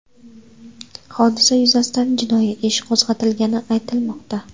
Hodisa yuzasidan jinoyat ishi qo‘zg‘atilgani aytilmoqda.